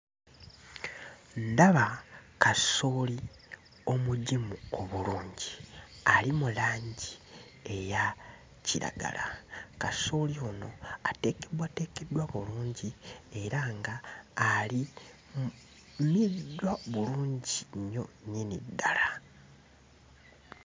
Ndaba kasooli omugimu obulungi, ali mu langi eya kiragala. Kasooli ono ateekeddwateekeddwa bulungi era nga alimiddwa bulungi nnyo nnyini ddala.